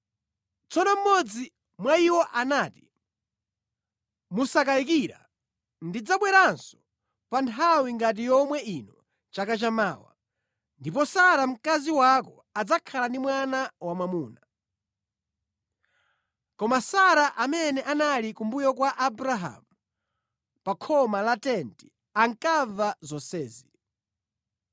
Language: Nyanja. Tsono mmodzi mwa iwo anati, “Mosakayikira ndidzabweranso pa nthawi ngati yomwe ino chaka chamawa, ndipo Sara mkazi wako adzakhala ndi mwana wamwamuna.” Koma Sara amene anali kumbuyo kwa Abrahamu pa khoma la tenti ankamva zonsezi.